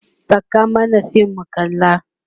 Saka mana fim mu kalla!